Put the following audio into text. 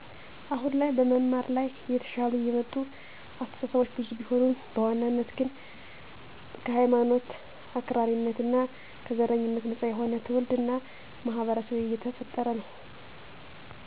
አሁን ላይ በመማር ላይ እየተሻሻሉ የመጡ አስተሳሰቦች ብዙ ቢሆኑም በዋናነት ግን ከሀይማኖት አክራሪነት እና ከዘረኝነት ነፃ የሆነ ትውልድ እና ማህበረሰብ እየተፈጠረ ነው።